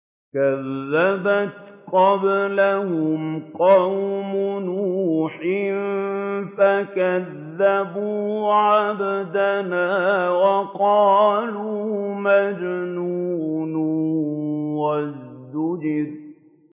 ۞ كَذَّبَتْ قَبْلَهُمْ قَوْمُ نُوحٍ فَكَذَّبُوا عَبْدَنَا وَقَالُوا مَجْنُونٌ وَازْدُجِرَ